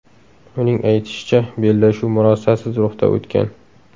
Uning aytishicha, bellashuv murosasiz ruhda o‘tgan.